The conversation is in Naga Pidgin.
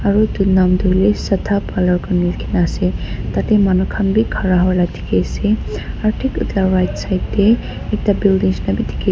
aru utu nam toh sudha parlour koine likhine ase tate manukhan bi khara hwa la dikhi ase aru thik etu la right side te ekta building nishe na bi dikhi ase.